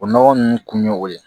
O nɔgɔ nunnu kun ye o ye